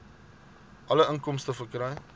alle inkomste verkry